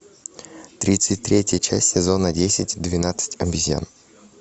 тридцать третья часть сезона десять двенадцать обезьян